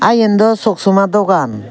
aa iyen dw soksama dogan.